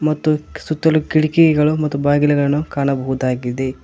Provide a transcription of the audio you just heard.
ಮತ್ತು ಸುತ್ತಲೂ ಕಿಟಕಿಗಳು ಮತ್ತು ಬಾಗಿಲುಗಳನ್ನು ಕಾಣಬಹುದಾಗಿದೆ.